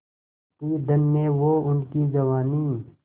थी धन्य वो उनकी जवानी